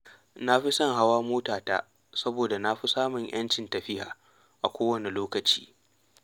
Na fi son hawa motata saboda na fi samun ‘yancin tafiya a kowane lokaci.